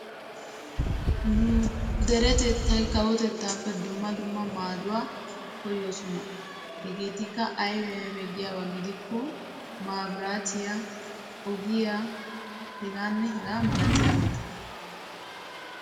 Nu derettattay kawotettappe keehippe dero maadduwa koyossonna. Hegeetikka koorinttiya, ogiya qassikka harabattikka de'osonna.